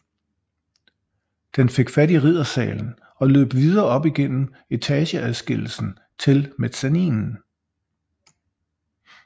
Den fik fat i Riddersalen og løb videre op igennem etageadskillelsen til mezzaninen